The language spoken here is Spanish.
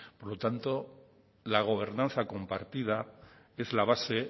por lo tanto la gobernanza compartida es la base